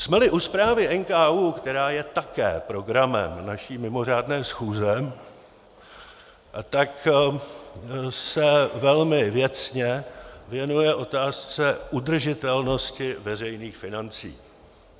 Jsme-li u zprávy NKÚ, která je také programem naší mimořádné schůze, tak se velmi věcně věnuje otázce udržitelnosti veřejných financí.